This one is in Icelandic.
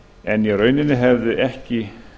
en í rauninni hefði ekki